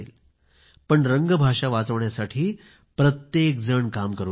पण रंग भाषा वाचवण्यासाठी प्रत्येक जण काम करू लागला